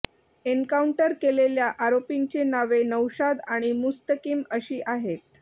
encounter केलेल्या आरोपींचे नावे नौशाद आणि मुस्तकीम अशी आहेत